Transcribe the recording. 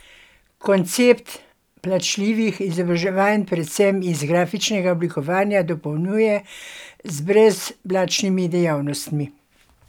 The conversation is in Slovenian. Koncept plačljivih izobraževanj predvsem iz grafičnega oblikovanja dopolnjuje z brezplačnimi dejavnostmi.